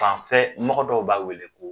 Fanfɛ mɔgɔ dɔw b'a wele ko